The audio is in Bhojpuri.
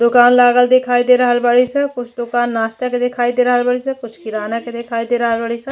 दुकान लागल दिखाई दे रहल बाड़ी स। कुछ दुकान नास्ता के दिखाई बाड़ी स कुछ किराना के दिखाई दे रहल बाड़ी स।